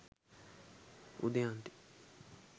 udaynthi